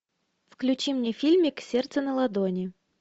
включи мне фильмик сердце на ладони